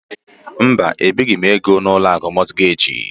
Mba, ebighi m ego n'Ụlọakụ Mogejị.